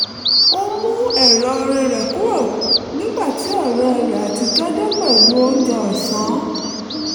ó mú ẹ̀rọ orin orí rẹ̀ kúrò nígbà tí ọ̀rẹ́ rẹ̀ àtijọ́ dé pẹ̀lú oúnjẹ ọ̀sán